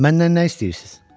Məndən nə istəyirsiz?